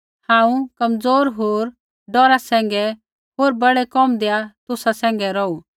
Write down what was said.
हांऊँ कमज़ोर होर डौरा सैंघै होर बड़ै कोमदैआ तुसा सैंघै रौहू